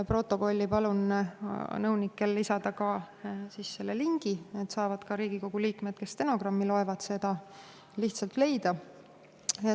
Palun nõunikel protokolli lisada ka selle lingi, et Riigikogu liikmed, kes stenogrammi loevad, saaksid selle lihtsalt leida.